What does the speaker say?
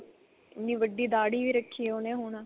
ਇੰਨੀ ਵੱਡੀ ਦਾੜੀ ਵੀ ਰੱਖੀ ਉਹਨੇ ਹੁਣ